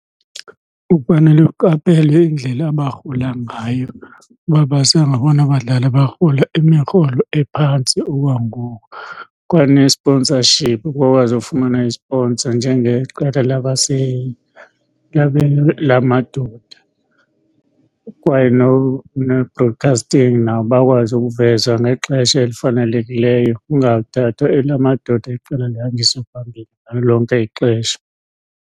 Ufanele uqaphele indlela abarhola ngayo uba basengabona badlali abarhola imirholo ephantsi okwangoku. Kwane-sponsorship, bakwazi ufumana i-sponsor njengeqela lamadoda. Kwaye ne-broadcasting nabo bakwazi ukuvezwa ngexesha elifanelekileyo kungathathwa elamadoda iqela lihanjiswe phambili ngalo lonke ixesha.